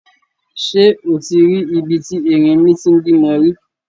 Ṣé o ti rí ibi tí erinmi ti ń bímọ rí?